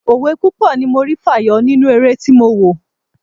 Òwe púpọ̀ ni mo rí fàyọ nínú eré tí mo wò.